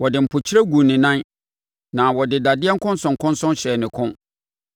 Wɔde mpokyerɛ guu ne nan, na wɔde dadeɛ nkɔnsɔnkɔnsɔn hyɛɛ ne kɔn,